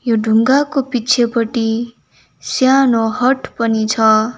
यो ढुङ्गाको पिछेपट्टि सानो हट पनि छ।